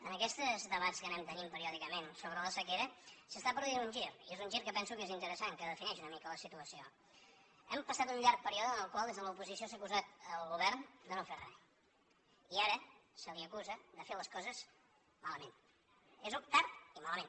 en aquests debats que anem tenint periòdicament sobre la sequera s’està produint un gir i és un gir que penso que és interessant que defineix una mica la situació hem passat un llarg període en el qual des de l’oposició s’ha acusat el govern de no fer re i ara se l’acusa de fer les coses malament tard i malament